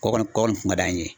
Kɔ kɔni kɔ kɔni kun ka d'an ye.